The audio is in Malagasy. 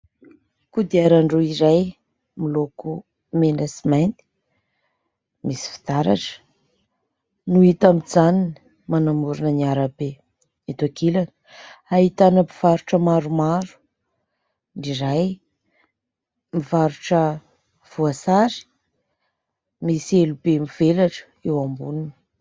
Kodiaran-droa iray, miloko mena sy mainty, misy fitaratra, no hita mijanona manamorina ny arabe eto ankilany. Ahitana mpivarotra maromaro, iray, mivarotra voasary, misy elo be mivelatra eo amboniny.